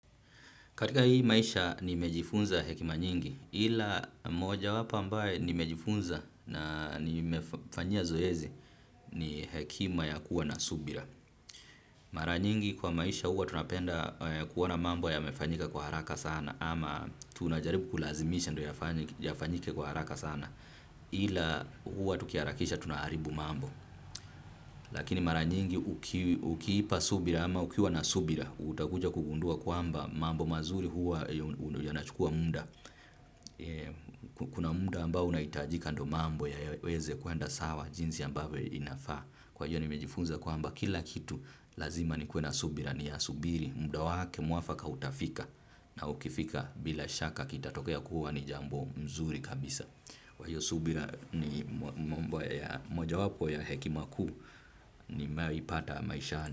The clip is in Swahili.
Katika hii maisha nimejifunza hekima nyingi ila moja wapo ambaye nimejifunza na nimefanyia zoezi ni hekima ya kuwa na subira. Mara nyingi kwa maisha huwa tunapenda kuona mambo yamefanyika kwa haraka sana ama tunajaribu kulazimisha yafanyike kwa haraka sana ila hua tukiaharakisha tunaaribu mambo. Lakini mara nyingi ukiipa subira ama ukiwa na subira utakuja kugundua kwamba mambo mazuri huwa yanachukua muda. Kuna muda ambao unaitajika ndio mambo yaweze kuenda sawa jinsi ambavyo inafaa. Kwa hiyo nimejifunza kwamba kila kitu lazima ni kuwe na subira ni ya subiri. Muda wake muafaka utafika na ukifika bila shaka kita tokea kuwa ni jambo nzuri kabisa. Kwa hiyo subira ni moja wapo ya hekima kuu nimewaipata maishani.